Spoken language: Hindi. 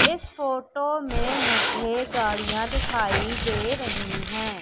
इस फोटो में मुझे गाड़ियां दिखाई दे रही है।